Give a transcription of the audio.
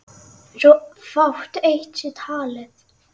svo fátt eitt sé talið.